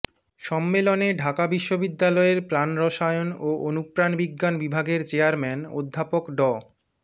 সম্মেলনে ঢাকা বিশ্ববিদ্যালয়ের প্রাণ রসায়ন ও অনুপ্রাণ বিজ্ঞান বিভাগের চেয়ারম্যান অধ্যাপক ড